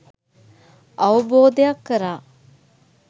අවබෝධයක් කරා